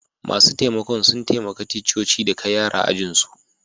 Masun taimakon sun taimaka ticcoci da kai yaran ajin su.